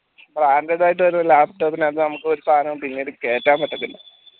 branded ആയിട്ട് വരുന്ന laptop നകത്ത് നമ്മക്ക് ഒരു സാനം പിന്നീട് കേട്ടാൻ പറ്റത്തില്ല